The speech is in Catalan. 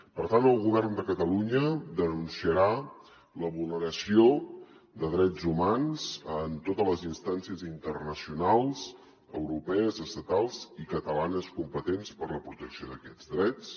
per tant el govern de catalunya denunciarà la vulneració de drets humans en totes les instàncies internacionals europees estatals i catalanes competents per a la protecció d’aquests drets